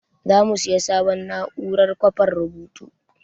Za mu sayi sabon na'urar kwafan rubutu.